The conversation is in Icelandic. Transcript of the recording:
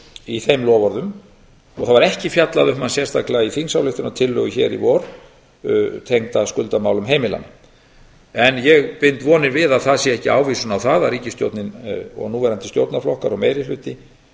í þeim loforðum og var ekki fjallað um hann sérstaklega í vor í þingsályktunartillögu tengdri skuldamálum heimilanna ég bind vonir við að það sé ekki ávísun á að ríkisstjórnin og núverandi stjórnarflokkar og meiri hluti